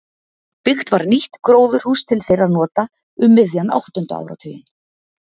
Byggt var nýtt gróðurhús til þeirra nota um miðjan áttunda áratuginn.